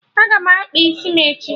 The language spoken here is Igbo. Aga m akpa isi m echi